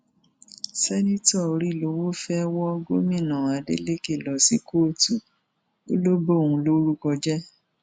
seneto òrìlọwọ fẹẹ wọ gómìnà adeleke lọ sí kóòtù ó lọ bóun lórúkọ jẹ